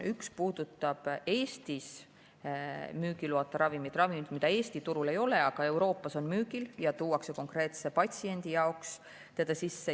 Üks puudutab Eestis müügiloata ravimeid, mida Eesti turul ei ole, aga mis Euroopas on müügil ja tuuakse konkreetse patsiendi jaoks sisse.